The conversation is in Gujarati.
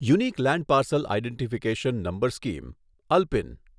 unique land parcel identification number scheme ULPIN